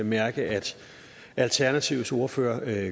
mærke at alternativets ordfører gør